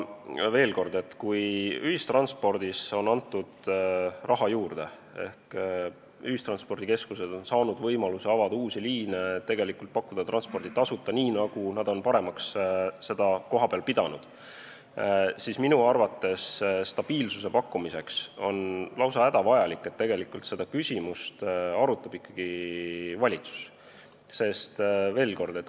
Veel kord: kui ühistranspordi korraldamiseks on antud raha juurde ehk ühistranspordikeskused on saanud võimaluse avada uusi liine, pakkuda transporti tasuta või nii, nagu nad on kohapeal paremaks pidanud, siis minu arvates on stabiilsuse tagamiseks lausa hädavajalik, et seda küsimust arutaks ikkagi valitsus.